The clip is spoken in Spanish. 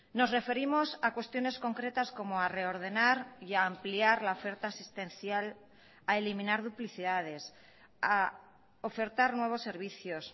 nos referimos a cuestiones concretas como a reordenar y a ampliar la oferta asistencial a eliminar duplicidades a ofertar nuevos servicios